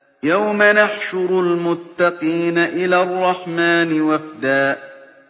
يَوْمَ نَحْشُرُ الْمُتَّقِينَ إِلَى الرَّحْمَٰنِ وَفْدًا